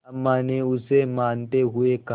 अम्मा ने उसे मनाते हुए कहा